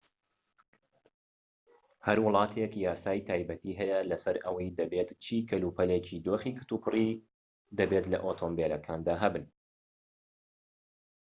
هەر وڵاتێك یاسای تایبەتی هەیە لەسەر ئەوەی دەبێت چی کەلوپەلێکی دۆخی کتوپڕی دەبێت لە ئۆتۆمبیلەکاندا هەبن